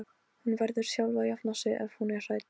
Fjarki, hvað er á áætluninni minni í dag?